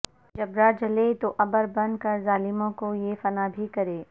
جبرا جلے تو عبر بن کر ظالموں کو یہ فنا بھی کرے